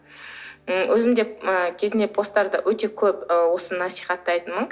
м өзім де ыыы кезінде посттарды өте көп ы осы насихаттайтынмын